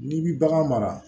N'i bi bagan mara